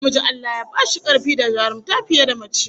Namiji Allah Ya ba shi karfi da jarumta fiye da mace